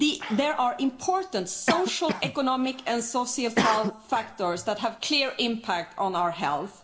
There are important social, economic and societal factors that have a clear impact on our health.